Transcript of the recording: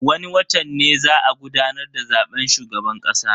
Wani watan ne za a gudanar da zaben shugaban kasa.